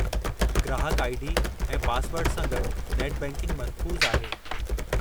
ग्राहकु I. D. ऐं पासवर्डु सां गॾु नेट बैंकिंग महफ़ूज़ु आहे।